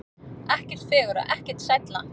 Ekkert fegurra, ekkert sælla.